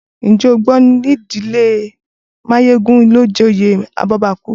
Ǹjẹ́ o gbọ́ pé ìdílé Máyégún ló joyè abọ́bakú?